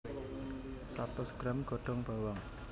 Satus gram godhong bawang